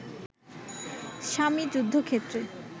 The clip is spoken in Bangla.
স্বামী যুদ্ধক্ষেত্রে